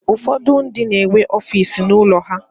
Ụfọdụ ndị na-enwe ọfiisi n'ụlọ ha.